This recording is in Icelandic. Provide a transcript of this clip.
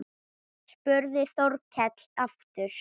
spurði Þórkell aftur.